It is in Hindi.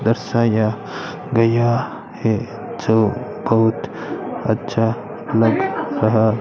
दर्शाया गया है जो बहुत अच्छा लग रहा --